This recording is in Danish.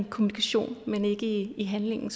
kommunikation men ikke i handling